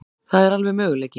Það er alveg möguleiki.